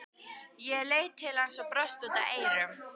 Ég leit til hans og brosti út að eyrum.